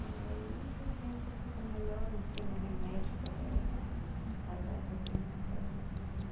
E aí a criança fica melhor, eu ensino remédio para é para dar para a criança ficar bom.